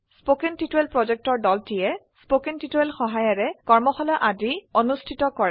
কথন শিক্ষণ প্ৰকল্পৰ দলটিয়ে কথন শিক্ষণ সহায়িকাৰে কৰ্মশালা আদি অনুষ্ঠিত কৰে